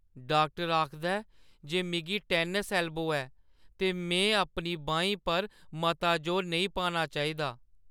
Doctor आखदा ऐ जे मिगी टेनिस एल्बो ऐ ते में अपनी बाहीं पर मता जोर नेईं पाना चाहिदा।